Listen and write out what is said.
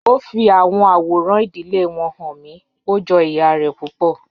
O fi awọn aworan idile wọn han mi, o jọ iya rẹ pupọ.